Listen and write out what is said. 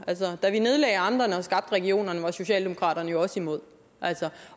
da vi nedlagde amterne og skabte regionerne var socialdemokraterne jo også imod